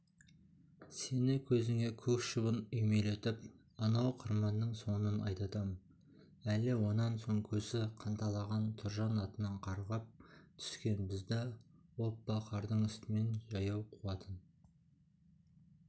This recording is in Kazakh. сені көзіңе көк шыбын үймелетіп анау қыдырманның соңынан айдатам әлі онан соң көзі қанталаған тұржан атынан қарғып түскен бізді оппа қардың үстімен жаяу қуатын